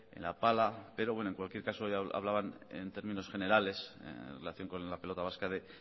en la pala pero bueno en cualquier caso ya hablaban en términos generales en relación con la pelota vasca de